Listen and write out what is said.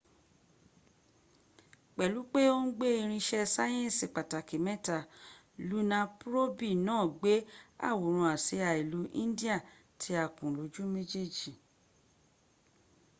pẹlu pe o n gbe irin iṣẹ sayẹnsi pataki mẹta luna probi naa gbe aworan asia ilu indiya ti a kun loju mejej